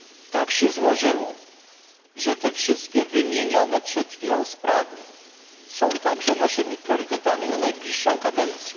Tak się złożyło, że te wszystkie wymienione przed chwilą sprawy są także naszymi priorytetami na najbliższą kadencję.